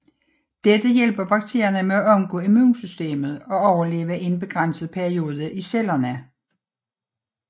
Dette hjælper bakterierne med at omgå immunsystemet og overleve i en begrænset periode i cellerne